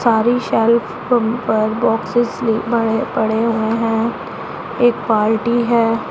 सारी shelf bumper boxes भी बड़े पड़े हुए हैं एक पार्टी है।